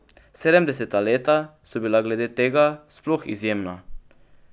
Sedemdeseta leta so bila glede tega sploh izjemna.